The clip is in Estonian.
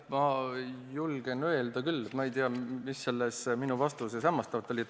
Ma julgen öelda küll, et ma ei tea, mis selles minu vastuses hämmastavat oli.